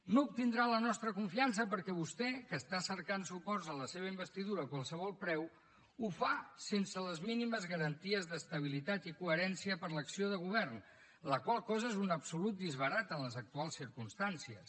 no obtindrà la nostra confiança perquè vostè que està cercant suports a la seva investidura a qualsevol preu ho fa sense les mínimes garanties d’estabilitat i coherència per a l’acció de govern la qual cosa és un absolut disbarat en les actuals circumstàncies